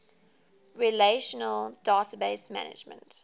relational database management